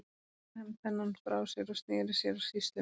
Svo lagði hann pennann frá sér og sneri sér að sýslumanni.